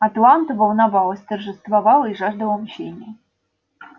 атланта волновалась торжествовала и жаждала мщения